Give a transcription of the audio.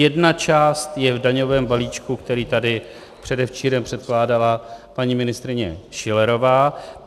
Jedna část je v daňovém balíčku, který tady předevčírem předkládala paní ministryně Schillerová.